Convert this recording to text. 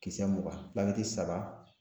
Kisɛ mugan saba